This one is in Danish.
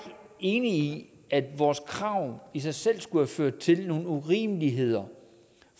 enig i at vores krav i sig selv skulle have ført til nogle urimeligheder